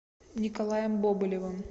николаем бобылевым